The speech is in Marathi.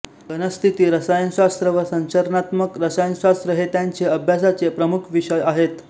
घनस्थिती रसायनशास्त्र व संरचनात्मक रसायनशास्त्र हे त्यांचे अभ्यासाचे प्रमुख विषय आहेत